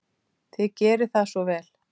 Þið gerið það svo vel.